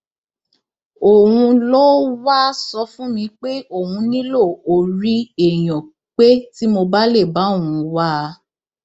òun ló wáá sọ fún mi pé òun nílò orí èèyàn pé tí mo bá lè bá òun wá a